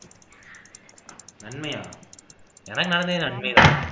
நன்மையா எனக்கு நானே நன்மைதான்